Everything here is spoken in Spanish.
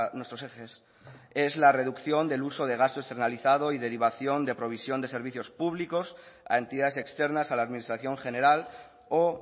nuestros ejes es la reducción del uso de gasto externalizado y derivación de provisión de servicios públicos a entidades externas a la administración general o